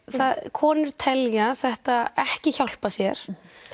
konur telja þetta ekki hjálpa sér